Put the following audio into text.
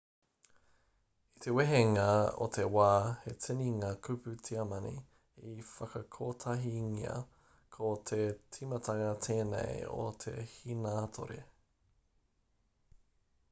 i te wehenga o te wā he tini ngā kupu tiamani i whakakotahingia ko te timatanga tēnei o te hīnātore